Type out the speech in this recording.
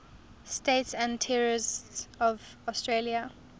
states and territories of australia